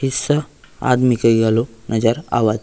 ईस्सा आदमी के गलों नज़र आवत --